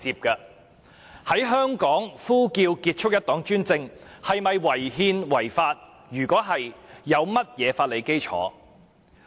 在香港呼叫"結束一黨專政"口號是否屬違憲和違法？